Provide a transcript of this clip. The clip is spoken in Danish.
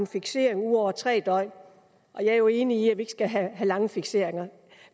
fikseret ud over tre døgn jeg er jo enig i at vi skal have lange fikseringer